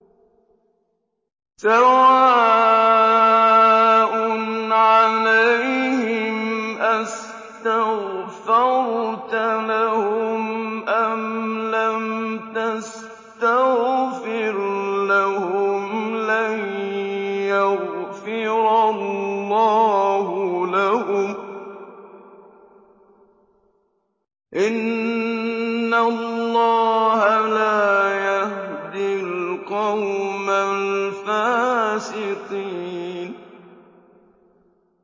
سَوَاءٌ عَلَيْهِمْ أَسْتَغْفَرْتَ لَهُمْ أَمْ لَمْ تَسْتَغْفِرْ لَهُمْ لَن يَغْفِرَ اللَّهُ لَهُمْ ۚ إِنَّ اللَّهَ لَا يَهْدِي الْقَوْمَ الْفَاسِقِينَ